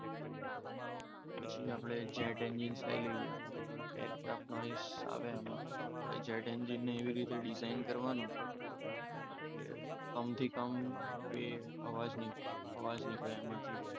પછી આપણે jet engine લઈ લઈએ. નોઈસ આવે એમાં આપણે જે એન્જિનની એવી રીતે ડિઝાઇન કરવાનું, કે કમ થી કમ આવાજ આવાજ નીકળે એમાંથી.